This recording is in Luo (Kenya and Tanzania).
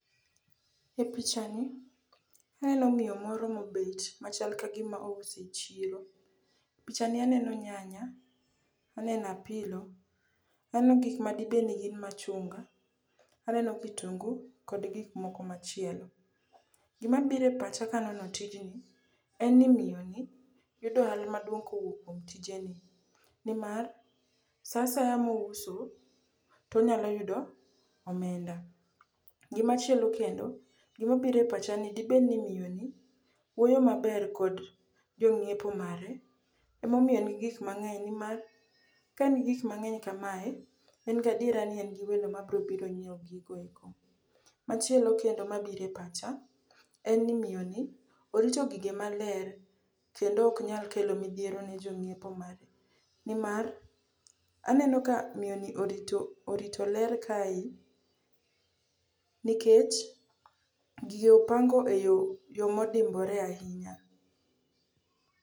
E pichani, aneno miyo moro mobet machal kagima ouso e chiro. Pichani aneno nyanya, aneno apilo, aneno gikmadibedni gin machunga, aneno kitungu kod gikmoko machielo. Gimabiro e pacha kanono tijni en ni miyoni yudo ohala maduong' kuom tijeni, nimar sa asaya mouso to onyalo yudo omenda. Gimachielo kendo gimabiro e pacha en ni dibed ni miyoni wuoyo maber kod jong'iepo mare emomiyo en gi gik mang'eny nimar ka en gi gik mang'eny kamae, en gadiera ni en gi welo mabrobiro nyieo gigo eko. Machielo kendo mabiro e pacha en ni miyoni orito gige maler kendo oknyal kelo midhiero ne jong'iepo mare nimar aneno ka miyoni orito ler kae nikech gige opango e yo modimbore ahinya.